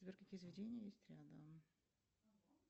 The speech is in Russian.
сбер какие заведения есть рядом